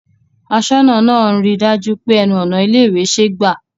Aṣọ́nà náà ń ri dájú pé ẹnu ọ̀nà ilé ìwé ṣe gbà